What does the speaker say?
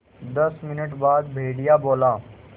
दस मिनट बाद भेड़िया बोला